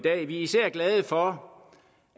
er især glade for